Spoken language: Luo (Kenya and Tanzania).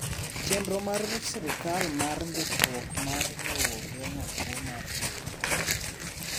Chenro mar sirkal mar ndikruok mar lowo geng'o kuo mar lowo